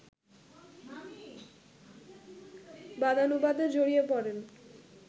বাদানুবাদে জড়িয়ে পড়েন